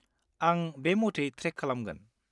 आं बे मथै ट्रेक खालामगोन।